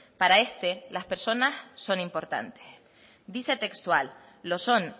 para este las personas son importantes dice textual lo son